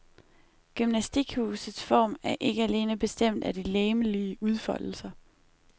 Gymnastikhusets form er ikke alene bestemt af de legemlige udfoldelser.